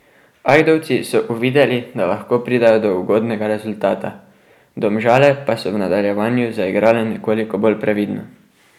Ajdovci so uvideli, da lahko pridejo do ugodnega rezultata, Domžale pa so v nadaljevanju zaigrale nekoliko bolj previdno.